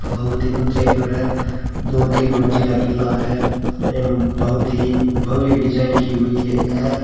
बहुत ही ऊंचाई पर है दो तीन मंजिला किला है एवं बहुत ही भव्य डिजाइन की हुई है।